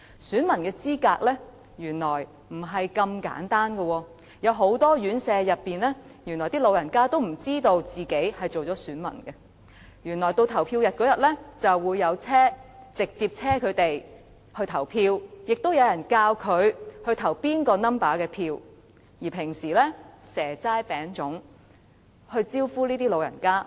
選民的資格並非那麼簡單的，原來很多院舍的長者並不知道自己已登記成為選民，到了投票日，就會有車輛接送他們去投票，並會有人教他們應該投票給哪個數字的候選人。